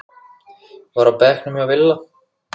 var á bekknum hjá Villa.